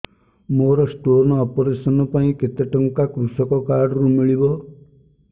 ମୋର stone operation ପାଇଁ କେତେ ଟଙ୍କା କୃଷକ କାର୍ଡ ରୁ ମିଳିବ